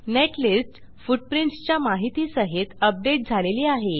netlist footprints च्या माहिती सहित अपडेट झालेली आहे